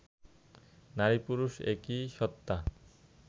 নারী-পুরুষ একি সত্ত্বা